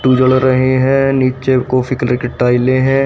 जल रहे हैं नीचे कॉफी कलर की टाइलें हैं।